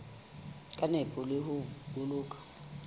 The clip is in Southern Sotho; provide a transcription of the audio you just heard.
ka nepo le ho boloka